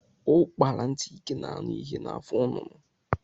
Ukpara ntị ike na anụ ihe na afọ nnụnụ.